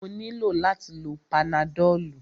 Mo nílò láti lo panadọ́lú.